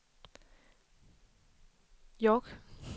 York